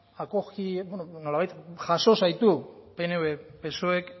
bueno nolabait jaso zaitu pnvk psoek